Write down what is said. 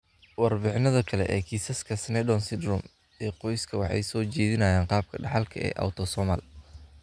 Warbixinada kale ee kiisaska Sneddon syndrome ee qoyska waxay soo jeedinayaan qaabka dhaxalka ee autosomal.